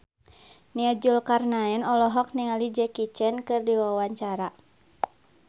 Nia Zulkarnaen olohok ningali Jackie Chan keur diwawancara